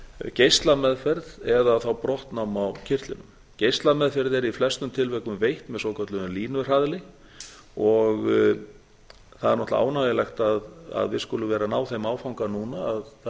geislameðferð eða brottnám á kirtlinum geislameðferð er í flestum tilvikum veitt með svokölluðum línuhraðli það er náttúrlega ánægjulegt að við skulum vera að ná þeim áfanga núna að það er verið að